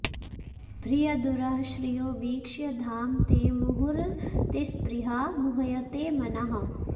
बृहदुरः श्रियो वीक्ष्य धाम ते मुहुरतिस्पृहा मुह्यते मनः